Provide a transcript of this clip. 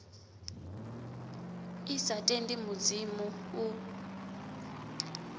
i sa tendi mudzimu u